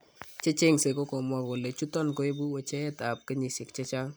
Checheng'se kokokomwaa kole chuton koibu wecheet ab genisiek chechang'